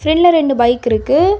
ல்ல ரெண்டு பைக் இருக்கு.